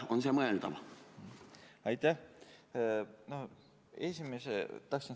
On see mõeldav?